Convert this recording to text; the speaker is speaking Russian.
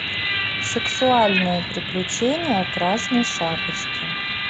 сексуальные приключения красной шапочки